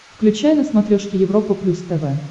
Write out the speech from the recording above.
включай на смотрешке европа плюс тв